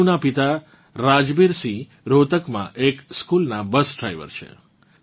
તનુનાં પિતા રાજબીર સિંહ રોહતકમાં એક સ્કૂલનાં બસ ડ્રાઇવર છે